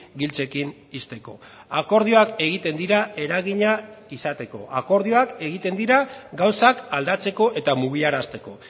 giltzekin ixteko akordioak egiten dira eragina izateko akordioak egiten dira gauzak aldatzeko eta mugiarazteko